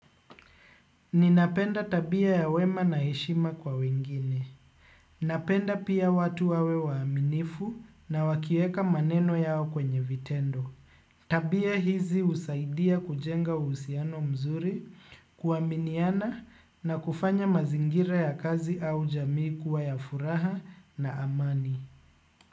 Ninapenda tabia ya wema na heshima kwa wengine. Napenda pia watu wawe waaminifu na wakieka maneno yao kwenye vitendo. Tabia hizi husaidia kujenga uhusiano mzuri, kuaminiana na kufanya mazingira ya kazi au jamii kuwa ya furaha na amani.